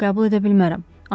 Yox, qəbul edə bilmərəm.